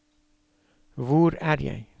hvor er jeg